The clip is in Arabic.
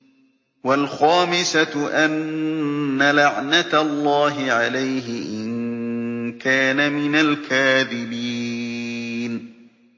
وَالْخَامِسَةُ أَنَّ لَعْنَتَ اللَّهِ عَلَيْهِ إِن كَانَ مِنَ الْكَاذِبِينَ